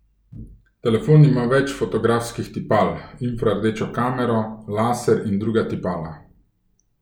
Telefon ima več fotografskih tipal, infrardečo kamero, laser in druga tipala.